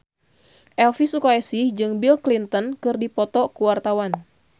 Elvi Sukaesih jeung Bill Clinton keur dipoto ku wartawan